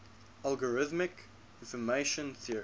algorithmic information theory